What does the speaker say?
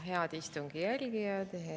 Head istungi jälgijad!